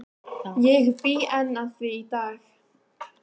Ég bý enn að því í dag.